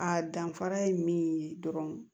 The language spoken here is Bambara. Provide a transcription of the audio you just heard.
A danfara ye min ye dɔrɔn